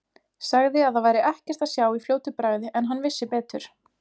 Sagði að það væri ekkert að sjá í fljótu bragði en hann vissi betur.